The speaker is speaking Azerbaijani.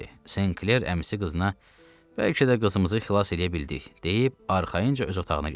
St. Kler əmisi qızına: bəlkə də qızımızı xilas eləyə bildik, deyib arxayınca öz otağına getdi.